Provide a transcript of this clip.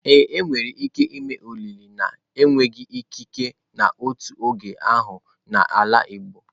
Ee, enwere ike ime olili na-enweghị ikike n'otu oge ahụ n'ala igbo.